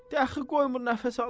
Dəxi qoymur nəfəs alım.